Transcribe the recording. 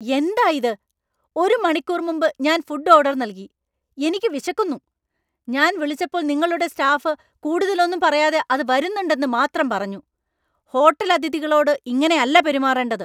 എന്തായിത്? ഒരു മണിക്കൂർ മുമ്പ് ഞാൻ ഫുഡ് ഓർഡർ നൽകി, എനിക്ക് വിശക്കുന്നു. ഞാൻ വിളിച്ചപ്പോൾ നിങ്ങളുടെ സ്റ്റാഫ് കൂടുതൽ ഒന്നും പറയാതെ അത് വരുന്നുണ്ടെന്നു മാത്രം പറഞ്ഞു. ഹോട്ടൽ അതിഥികളോട് ഇങ്ങനെയല്ല പെരുമാറേണ്ടത്.